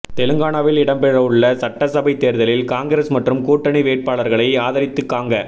தெலுங்கானாவில் இடம்பெறவுள்ள சட்ட சபை தேர்தலில் காங்கிரஸ் மற்றும் கூட்டணி வேட்பாளர்களை ஆதரித்து காங்க